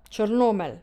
Črnomelj.